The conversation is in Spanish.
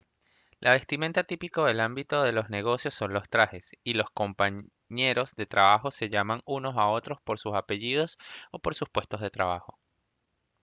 la vestimenta típica del ámbito de los negocios son los trajes y los compañeros de trabajo se llaman unos a otros por sus apellidos o por sus puestos de trabajo